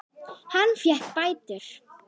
Hann fékk bætur.